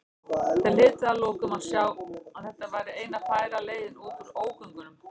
Þeir hlytu að lokum að sjá að þetta væri eina færa leiðin út úr ógöngunum.